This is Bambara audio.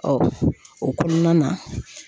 o kɔnɔna na